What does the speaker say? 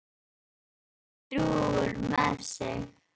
Nú er Doddi drjúgur með sig.